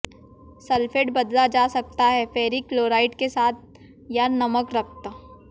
sulphate बदला जा सकता है फेरिक क्लोराइड के साथ या नमक रक्त